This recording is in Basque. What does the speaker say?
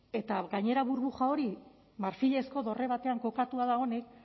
eta gainera burbuja hori marfilezko dorre batean kokatua dagoenik